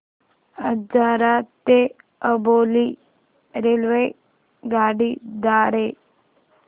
आजरा ते अंबोली रेल्वेगाडी द्वारे